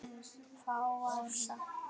Fátt var sagt um borð.